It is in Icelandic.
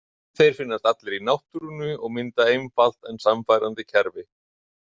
Þeir finnast allir í náttúrunni og mynda einfalt en sannfærandi kerfi.